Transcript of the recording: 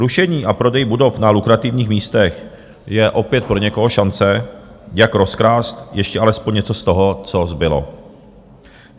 Rušení a prodej budov na lukrativních místech je opět pro někoho šance, jak rozkrást ještě alespoň něco z toho, co zbylo.